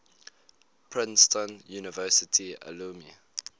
princeton university alumni